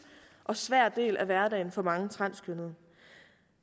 og svær del af hverdagen for mange transkønnede